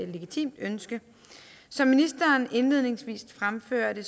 legitimt ønske som ministeren indledningsvis fremførte